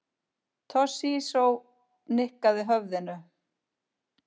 Toshizo nikkaði höfðinu.